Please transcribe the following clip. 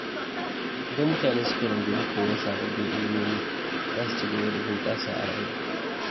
Idan mutane suka rungumi koyon sababbin ilimomi, za su ci gaba da bunƙasa a rayuwa.